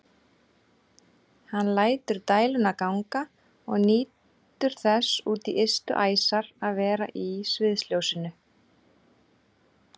Hann lætur dæluna ganga og nýtur þess út í ystu æsar að vera í sviðsljósinu.